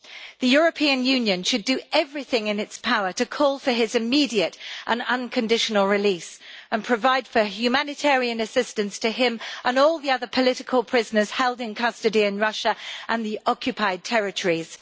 The European Union should do everything in its power to call for his immediate and unconditional release and provide for humanitarian assistance to him and all the other political prisoners held in custody in Russia and the occupied territories.